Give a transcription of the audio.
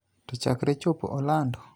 To chakre chopo Orlando,